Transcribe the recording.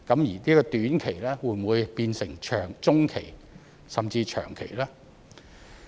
而短期會否變成中期甚至長期呢？